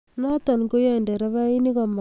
noto koyae nderefainik komagas agoyei olegimoktoi